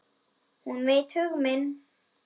Hún veit hug minn.